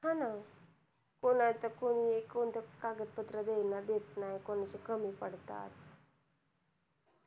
कोणाचं कोणी कागद पत्र देत नाही कोणाचं कमी पडतात